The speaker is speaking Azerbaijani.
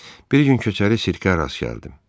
Bir gün köçəri sirkə rast gəldim.